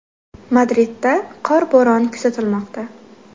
Madridda qor bo‘roni kuzatilmoqda.